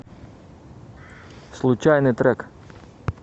случайный трек